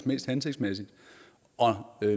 mest hensigtsmæssigt